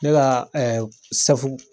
Ne ka ɛɛ